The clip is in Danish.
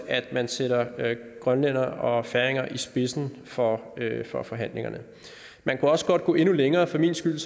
at man sætter grønlændere og færinger i spidsen for for forhandlingerne man kunne også godt gå endnu længere for min skyld